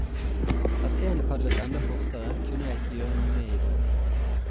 At én padlet enda fortere, kunne jeg ikke gjøre noe med i dag.